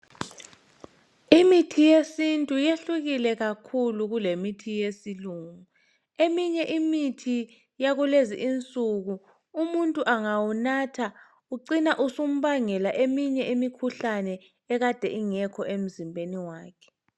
Imithi yesintu yehlukile kakhulu kulemithi yesilungu. Eminye imithi yakulezi insuku umuntu engawunatha ucina usumbangela eminye imikhuhlane ekade ingekho emzimbeni wakhe.